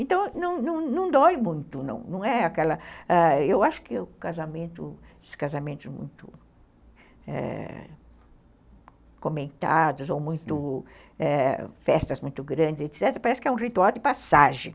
Então, não dói muito, não é aquela...ãh, eu acho que os casamentos muito comentados ou festas muito ãh grandes, etc., parece que é um ritual de passagem.